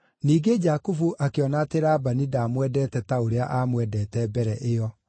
Ningĩ Jakubu akĩona atĩ Labani ndaamwendete ta ũrĩa aamwendete mbere ĩyo.